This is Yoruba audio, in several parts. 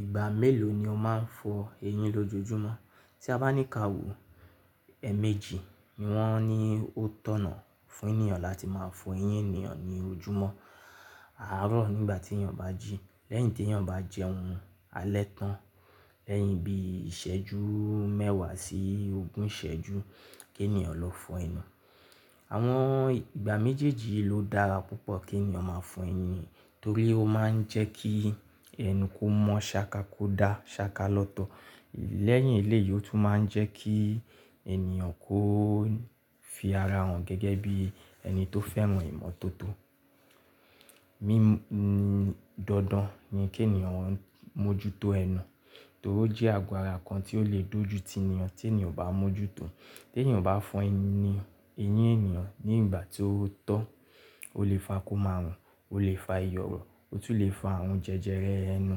Ìgbà mélòó ni o máa ń fọ eyín lójoojúmọ́? Tí a bá ní ká wò, èèmejì ni wọ́n ní ó tọ̀nà fún ènìyàn láti máa fọ eyín ènìyàn ní ojúmọ́. Àárọ̀ nígbà tí ènìyàn bá jí, lẹ́yìn tí ènìyàn bá jẹun alẹ́ tán, lẹ́yìn ibi ìsẹ́jú mẹ́wàá sí ogún ìsẹ́jú kí ènìyàn lọ fọ ẹnu. Àwọn ìgbà méjèèjì yì ló dára púpọ̀ kí ènìyàn máa fọ eyín torí ó máa ń jẹ́ kí ẹnu kó mọ́ ṣáka kó da ṣáka lọ́tọ̀. Lẹ́yìn eléyìí ó tún máa ń jẹ́ kí ènìyàn kó fi ara hàn gẹ́gẹ́ bí ẹni tó fẹ́ràn ìmọ́tótó. Mímú dandan ni kí ènìyàn mójútó ẹnu torí ó jẹ́ àgo ara kan tí ó lè dojú ti ènìyàn tí ènìyàn bá mójútó. Tí ènìyàn bá fọ eyín ènìyàn ní ìgbà tí ó tọ́, ó lè fa kó má rùn, ó lè fa iyọ̀rọ̀, ó tún lè fa àrùn jẹjẹrẹ ẹnu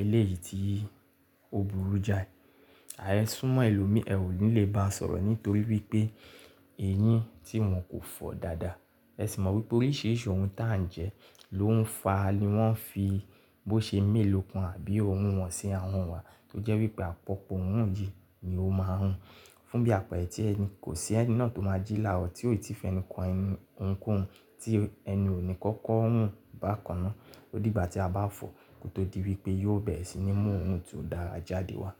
eléyìí tí ó burú jáì. È súmọ́ ẹlòmí, ẹ̀ ò ni lè bá a sọ̀rọ̀ nítorí wípé eyín tí wọn kò fọ dáadáa. Ẹ sì mọ̀ wípé oríṣìíríṣìí ohun tà ń jẹ ló ń fa ni wọ́n fi bó ṣe mélòó kan àbí ọ̀ún wọ̀n si ahun wa tó jẹ́ wípé àpọ̀pọ̀ òórùn yìí ni ó máa rùn. Fún bí àpẹẹrẹ tí ẹni, kò sí ẹni náà tó máa jí là rọ́ tí ó ti fi ẹnu kan ohun kó hun tí ẹnu ó ní kọ̀kọ̀ rùn bá kaná. Ó dìgbà tí a bá fọ kó tó di wípé yóò bẹ̀rẹ̀ sí ní mú òrùn tó dára jáde wá.